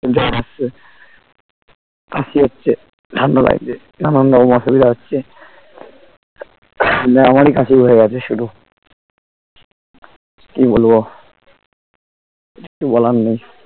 জ্বর আসছে কাশি হচ্ছে ঠান্ডা লাগছে নানান রকম অসুবিধা হচ্ছে উহ দিয়ে আমারি কাশি হয়ে গেছে শুরু কি বলবো কিছু বলার নেই